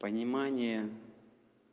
понимание